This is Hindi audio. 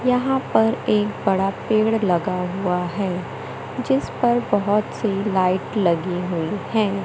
यहां पर एक बड़ा पेड़ लगा हुआ है जिस पर बहोत सी लाइट लगी हुई है।